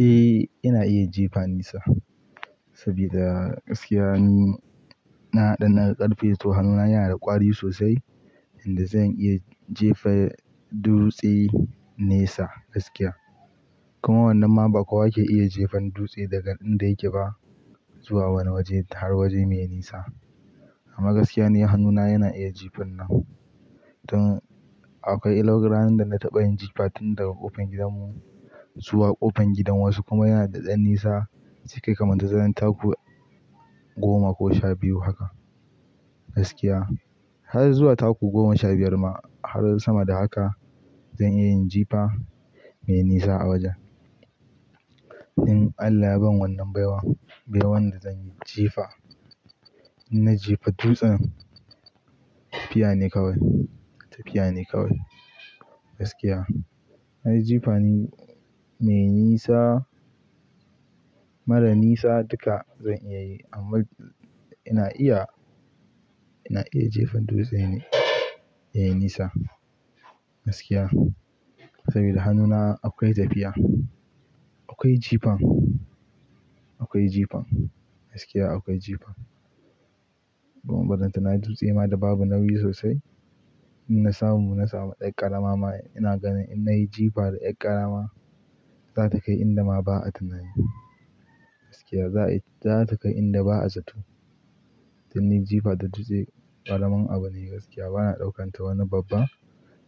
Eh, ina iya jifa nisa saboda gaskiya ni na haɗa na ƙarfe to hannuna yana da ƙwari sosai inda zan iya jefa dutse nesa gaskiya. Kuma wannan ma ba kowa yake iya jefan dutse daga inda yake ba zuwa wani waje har waje mai nisa. Amma gaskiya ni hannuna yana iya jifan nan don akwai ranar da na taɓa yin jifa tun daga ƙofar gidanmu zuwa ƙofar gidan wasu kuma yana da ɗan nisa zai kai kamar tazarar taku goma ko sha biyu haka gaskiya. Har zuwa taku goma sha biyar ma har sama da haka zan iya yin jifa mai nisa a wajen. In Allah ya ban wannan baiwa, baiwan da zan yi jifa, idan na jefa dutsen tafiya ne kawai, tafiya ne kawai gaskiya. Na yi jifa ni me nisa, mara nisa duka zan iya yi amma ina iya, ina iya jefan dutse ne, yayi nisa gaskiya. Saboda hannuna akwai tafiya, akwai jifan, akwai jifan gaskiya akwai jifan. Kuma barantana dutse ma da babu nauyi sosai. In na samu, na samu 'yar ƙarama ma ina ganin in na yi jifa da 'yar ƙarama za ta kai inda ma ba a tunani gaskiya. Za ta kai inda ba a zaton. Don ni jifa da dutse ƙaramin abu ne gaskiya bana ɗaukan ta wani babban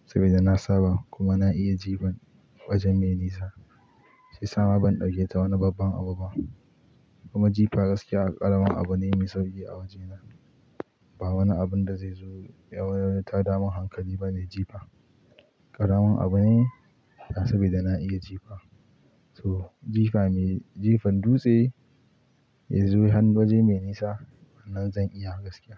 saboda na saba kuma na iya jifan waje me nisa. Sai sama ban ɗauke ta wani babban abu ba. Kuma jifa gaskiya ƙaramin abu ne me sauƙi a wajena. Ba wani abun da zai zo ya ya wani tadamin hankali ba ne jifa. Ƙaramin abu ne saboda na iya jifa. To jifa me, jefan dutse ya zo har waje mai nisa wannan zan iya gaskiya.